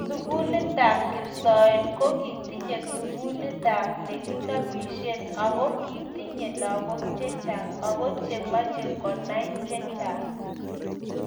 sugulitab kipsoen ko kitinye sugulit as neginobishe ago kitinye lagook chechang ago chemechee konay chechang